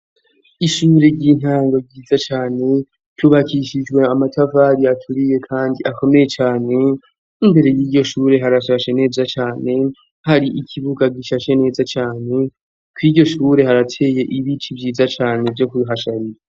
Ishure ry'intango ryiza cane ruyubakishijwe amatafari aturiye, kandi akomeye cane. Imbere y'iryo shure harashashe neza cane, har'ikibuga gishashe neza cane. Kur'iryo shure, harateye ibiti vyiza cane vyo kuhasharira.